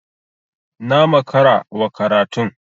Na makara wa karatun.